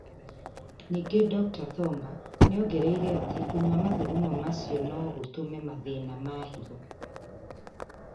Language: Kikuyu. Ningĩ Dr. Thornber nĩ ongereire atĩ kũnyua mathugumo macio no gũtũme mathĩna ma higo